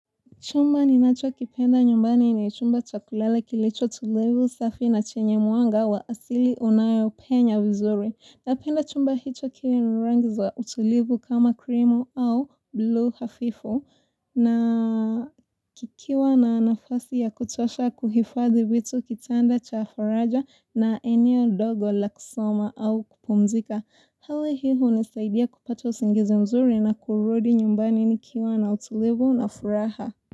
Chumba ninachokipenda nyumbani ni chumba cha kulala kilicho tulivu safi na chenye mwanga wa asili unayopenya vizuri. Napenda chumba hicho kiwe na rangi za utulivu kama krimu au blue hafifu na nikiwa na nafasi ya kutosha kuhifadhi vitu kitanda cha faraja na eneo dogo la kusoma au kupumzika. Hali hii hunisaidia kupata usingizi mzuri na kurudi nyumbani nikiwa na utulivu na furaha.